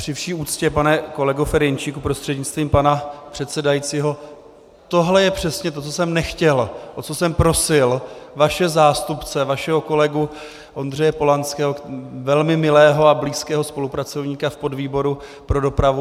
Při vší úctě, pane kolego Ferjenčíku prostřednictvím pana předsedajícího, tohle je přesně to, co jsem nechtěl, o co jsem prosil vaše zástupce, vašeho kolegu Ondřeje Polanského, velmi milého a blízkého spolupracovníka v podvýboru pro dopravu.